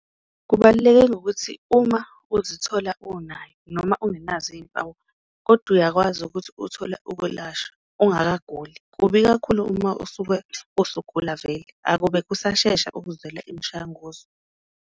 Kubaluleke ngokuthi uma uzithola unayo noma ungenazo iyimpawu kodwa uyakwazi ukuthi uthole ukwelashwa ungaguli, kubi kakhulu uma usuke usugula vele, akube kusashesha ukuzwela imishanguzo.